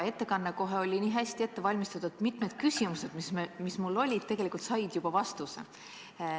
Ettekanne oli kohe nii hästi ette valmistatud, et mitmed küsimused, mis mul olid, said juba vastuse.